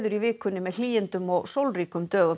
viku með hlýindum og sólríkum dögum